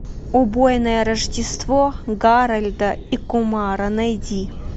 убойное рождество гарольда и кумара найди